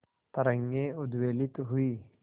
तरंगे उद्वेलित हुई